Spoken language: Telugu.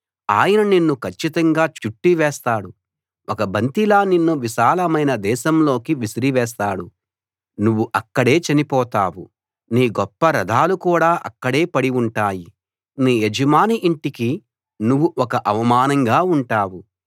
ఆయన నిన్ను కచ్చితంగా చుట్ట చుట్టివేస్తాడు ఒక బంతిలా నిన్ను విశాలమైన దేశంలోకి విసిరివేస్తాడు నువ్వు అక్కడే చనిపొతావు నీ గొప్ప రథాలు కూడా అక్కడే పడి ఉంటాయి నీ యజమాని ఇంటికి నువ్వు ఒక అవమానంగా ఉంటావు